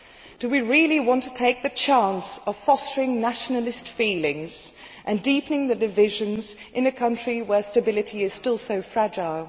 Do we really want to take the chance of fostering nationalist feelings and deepening the divisions in a country where stability is still so fragile?